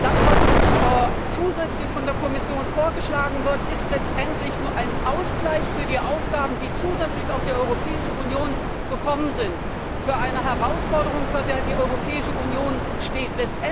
Das, was von der Kommission zusätzlich vorgeschlagen wird, ist letztendlich nur ein Ausgleich für die Aufgaben, die zusätzlich auf die Europäische Union zugekommen sind, für eine Herausforderung, vor der die Europäische Union steht.